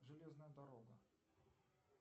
железная дорога